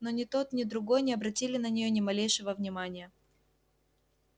но ни тот ни другой не обратили на неё ни малейшего внимания